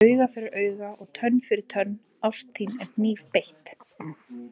Auga fyrir auga og tönn fyrir tönn, ást þín er hnífbeitt.